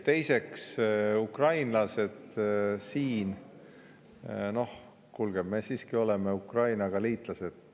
Teiseks, ukrainlased siin – noh, kuulge, me siiski oleme Ukraina liitlased.